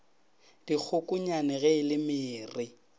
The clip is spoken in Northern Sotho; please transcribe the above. dikgokonyane ge e le mere